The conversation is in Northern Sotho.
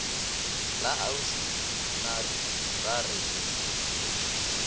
la ausi mary ba re